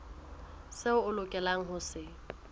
seo o lokelang ho se